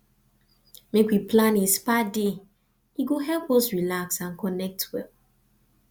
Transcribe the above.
make we plan a spa day e go help us relax and connect well